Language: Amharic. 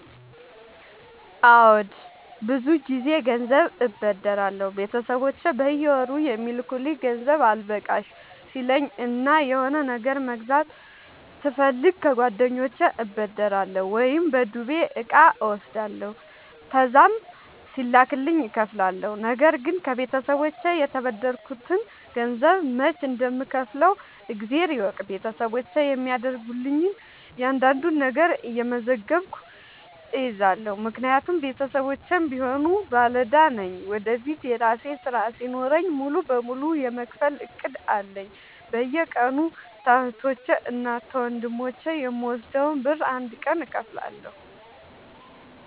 አዎድ ብዙ ግዜ ገንዘብ አበደራለሁ ቤተሰቦቼ በየወሩ የሚልኩልኝ ገንዘብ አልበቃሽ ሲለኝ እና የሆነ ነገር መግዛት ስፈልግ ከጓደኞቼ እበደራለሁ። ወይም በዱቤ እቃ እወስዳለሁ ከዛም ሲላክልኝ እከፍላለሁ። ነገርግን ከቤተሰቦቼ የተበደርከትን ገንዘብ መች እንደም ከውፍለው እግዜር ይወቅ ቤተሰቦቼ የሚያደርጉልኝን እያንዳዷን ነገር እየመዘገብኩ እይዛለሁ። ምክንያቱም ቤተሰቦቼም ቢሆኑ ባለዳ ነኝ ወደፊት የራሴ ስራ ሲኖረኝ ሙሉ በሙሉ የመክፈል እቅድ አለኝ። በየቀኑ ከህቶቼ እና ከወንድሞቼ የምወስደውን ብር አንድ ቀን እከፍላለሁ።